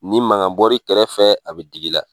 Ni magan bɔri kɛrɛfɛ, a be digi la.